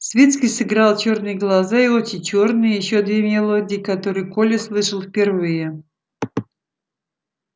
свицкий сыграл чёрные глаза и очи чёрные и ещё две мелодии которые коля слышал впервые